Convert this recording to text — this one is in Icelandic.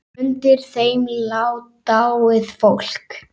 Undir þeim lá dáið fólk.